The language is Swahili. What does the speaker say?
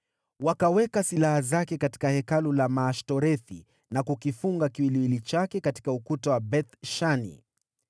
Wakaweka silaha zake katika hekalu la Maashtorethi, na kukifunga kiwiliwili chake katika ukuta wa Beth-Shani.